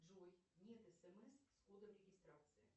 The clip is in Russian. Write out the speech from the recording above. джой нет смс с кодом регистрации